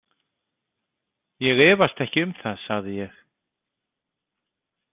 Ég efast ekki um það, sagði ég.